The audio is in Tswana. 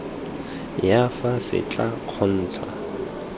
ya fa se tla kgontsha